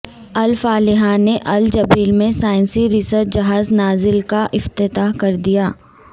al Falih نے Al Jubail میں سائنسی ریسرچ جہاز ناجل کا افتتاح کر دیا